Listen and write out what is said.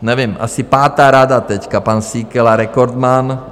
Nevím, asi pátá rada teď, pan Síkela - rekordman.